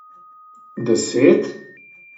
Deset?